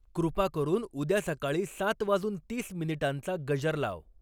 कृपा करून उद्या सकाळी सात वाजून तीस मिनिटांचा गजर लाव.